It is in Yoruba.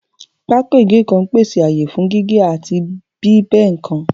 Pákó ìgé nǹkan ń pèsè ààyè fún gígé àti bí ẹ́ nǹkan